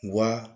Wa